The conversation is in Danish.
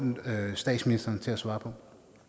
statsministeren til at svare på